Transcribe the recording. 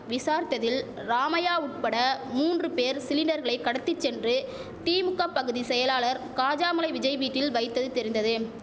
விசாரித்ததில் ராமையா உட்பட மூன்று பேர் சிலிண்டர்களை கடத்தி சென்று திமுக பகுதி செயலாளர் காஜாமலை விஜய் வீட்டில் வைத்தது தெரிந்தது